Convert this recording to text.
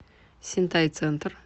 синтай центр